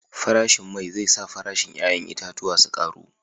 Farashin mai zai sa farashin 'ya'yan itatuwan su karu